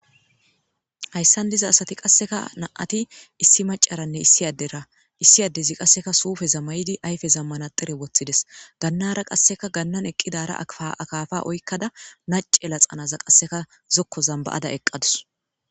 Hayssan diza asat iqassika nam7ati issi adderanne issi maccaragididi qassi suufeza mayidi uttides gannaara qassi ganaara uttidaara akaafa oykkada nacce laxanazan qasseka zokkozan ba7ada eqqadus.i